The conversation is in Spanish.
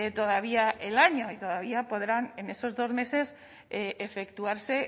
todavía el año y todavía podrán en estos dos meses efectuarse